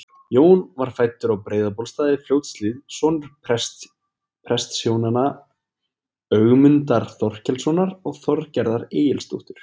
Jón var fæddur á Breiðabólstað í Fljótshlíð, sonur prestshjónanna Ögmundar Þorkelssonar og Þorgerðar Egilsdóttur.